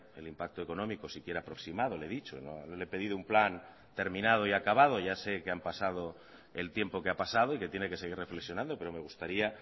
el impacto económico siquiera aproximado le he dicho no le he pedido un plan terminado y acabado ya sé que han pasado el tiempo que ha pasado y que tiene que seguir reflexionando pero me gustaría